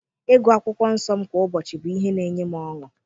Ịgụ akwụkwọ nsọ m kwa ụbọchị bụ ihe na-enye m ọṅụ.